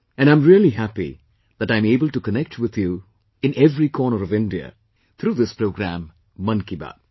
And I am really happy that I am able to connect with you all in every corner of India, through this programme 'Mann Ki Baat'